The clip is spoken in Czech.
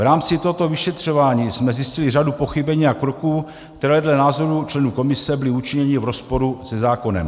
V rámci tohoto vyšetřování jsme zjistili řadu pochybení a kroků, které dle názoru členů komise byly učiněny v rozporu se zákonem.